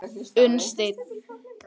Unnsteinn